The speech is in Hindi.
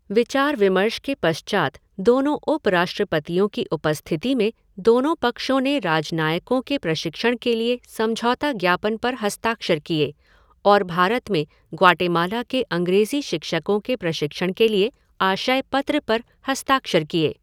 विचार विमर्श के पश्चात दोनों उपराष्ट्रपतियों की उपस्थिति में दोनों पक्षों ने राजनयिकों के प्रशिक्षण के लिए समझौता ज्ञापन पर हस्ताक्षर किए और भारत में ग्वाटेमाला के अंग्रेज़ी शिक्षकों के प्रशिक्षण के लिए आशय पत्र पर हस्ताक्षर किये।